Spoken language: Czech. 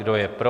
Kdo je pro?